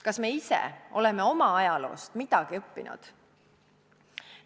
Kas me ise oleme oma ajaloost midagi õppinud?